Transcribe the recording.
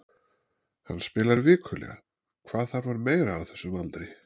Hann spilar vikulega, hvað þarf hann meira á þessum aldri?